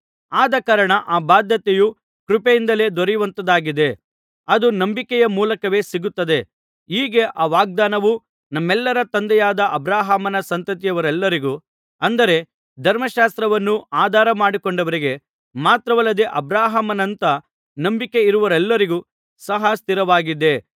ಆದಕಾರಣ ಆ ಬಾಧ್ಯತೆಯು ಕೃಪೆಯಿಂದಲೇ ದೊರೆಯುವಂಥದ್ದಾಗಿದೆ ಅದು ನಂಬಿಕೆಯ ಮೂಲಕವೇ ಸಿಕ್ಕುತ್ತದೆ ಹೀಗೆ ಆ ವಾಗ್ದಾನವು ನಮ್ಮೆಲ್ಲರ ತಂದೆಯಾದ ಅಬ್ರಹಾಮನ ಸಂತತಿಯವರೆಲ್ಲರಿಗೂ ಅಂದರೆ ಧರ್ಮಶಾಸ್ತ್ರವನ್ನು ಆಧಾರ ಮಾಡಿಕೊಂಡವರಿಗೆ ಮಾತ್ರವಲ್ಲದೆ ಅಬ್ರಹಾಮನಂಥ ನಂಬಿಕೆ ಇರುವವರೆಲ್ಲರಿಗೂ ಸಹ ಸ್ಥಿರವಾಗಿದೆ